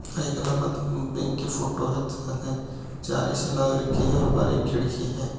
या एक इल्लाहाबाद बैंक की फोटो है जहाँ चार ए.सी. लाग रखी है और बाहर एक खिड़की है।